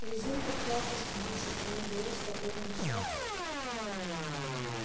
резинка платы с душит и не даёт спокойно дышать